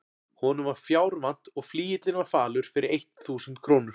Honum var fjár vant og flygillinn var falur fyrir eitt þúsund krónur.